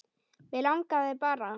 Mig langaði bara.